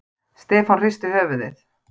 Stefán hristi höfuðið.